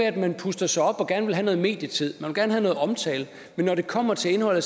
at man puster sig op og gerne vil have noget medietid man vil gerne have noget omtale men når det kommer til indholdet